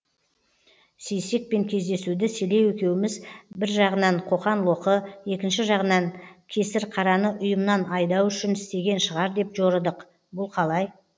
сейсекпен кездесуді селеу екеуміз бір жағынан қоқан лоқы екінші жағынан кесірқараны ұйымнан айдау үшін істеген шығар деп жорыдық бұл қалай